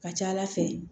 Ka ca ala fɛ